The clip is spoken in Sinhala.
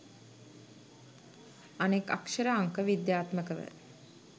අනෙක් අක්‍ෂර අංක විද්‍යාත්මකව